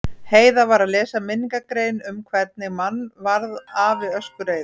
Heiða var að lesa minningargrein um einhvern mann varð afi öskureiður.